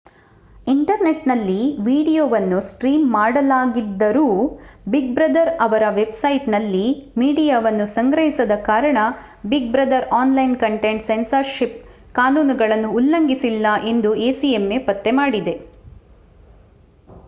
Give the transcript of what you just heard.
ಇಂಟರ್ನೆಟ್‌ನಲ್ಲಿ ವೀಡಿಯೊವನ್ನು ಸ್ಟ್ರೀಮ್ ಮಾಡಲಾಗಿದ್ದರೂ Big Brother ಅವರ ವೆಬ್‌ಸೈಟ್‌ನಲ್ಲಿ ಮೀಡಿಯಾವನ್ನು ಸಂಗ್ರಹಿಸದ ಕಾರಣ Big Brother online content censorship ಕಾನೂನುಗಳನ್ನು ಉಲ್ಲಂಘಿಸಿಲ್ಲ ಎಂದು acma ಪತ್ತೆಮಾಡಿದೆ